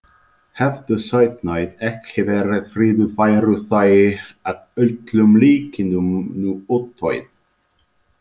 Hefðu sauðnaut ekki verið friðuð væru þau að öllum líkindum nú útdauð.